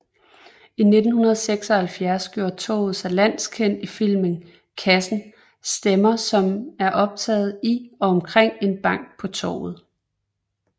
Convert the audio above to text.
I 1976 gjorde torvet sig landskendt i filmen Kassen stemmer som er optaget i og omkring en bank på Torvet